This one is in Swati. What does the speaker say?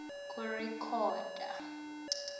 kurekhoda